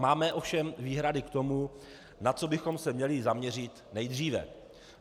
Máme ovšem výhrady k tomu, na co bychom se měli zaměřit nejdříve.